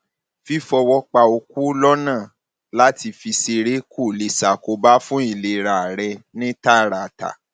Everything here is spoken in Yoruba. fífọwọ pa okó lọnà láti fi ṣeré kò lè ṣàkóbá fún ìlera rẹ ní tààràtà